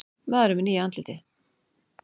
Maðurinn með nýja andlitið